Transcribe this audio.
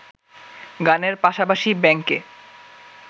গানের পাশাপাশি ব্যাংকে